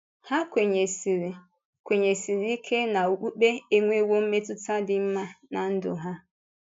Ha kwenyèsịrị kwenyèsịrị ike na okpukpe enwewò mmetụ́tà dị mma n’á ndụ ha.